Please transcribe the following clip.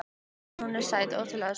En hún er sæt, ótrúlega sæt.